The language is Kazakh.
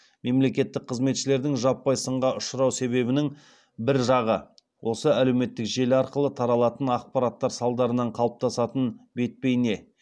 мемлекеттік қызметшілердің жаппай сынға ұшырау себебінің бір жағы осы әлеуметтік желі арқылы таралатын ақпараттар салдарынан қалыптасатын бет бейне